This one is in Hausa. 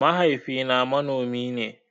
Mahaifi na manomi ne